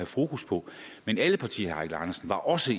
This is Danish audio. fokus på men alle partier var også